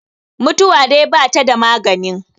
mutuwa dai ba ta da maganin